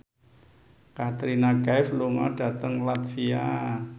Katrina Kaif lunga dhateng latvia